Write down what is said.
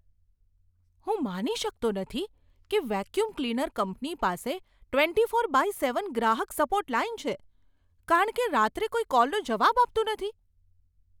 હું માની શકતો નથી કે વેક્યૂમ ક્લીનર કંપની પાસે ટ્વેન્ટી ફોર બાય સેવન ગ્રાહક સપોર્ટ લાઈન છે કારણ કે રાત્રે કોઈ કોલનો જવાબ આપતું નથી.